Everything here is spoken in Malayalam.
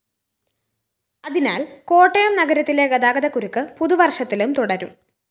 അതിനാല്‍ കോട്ടയം നഗരത്തിലെ ഗതാഗതകുരുക്ക് പുതുവര്‍ഷത്തിലും തുടരും